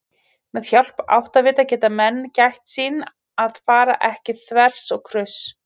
Með hjálp áttavita geta menn gætt sín að fara ekki þvers og kruss!